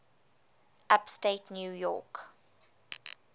upstate new york